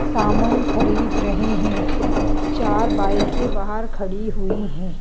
सामान खरीद रहे हैं चार बाइक ऐ बाहर खड़ी हुई हैं ।